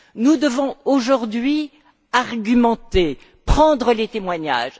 Nous devons aujourd'hui argumenter, prendre les témoignages.